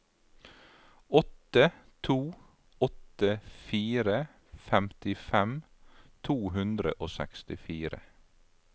åtte to åtte fire femtifem to hundre og sekstifire